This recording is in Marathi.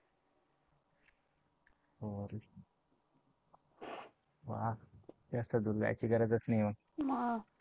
वा जास्त दूर जायची गरजच नाही.